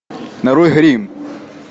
нарой гримм